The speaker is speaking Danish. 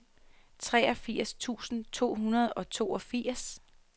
treogfirs tusind to hundrede og toogfirs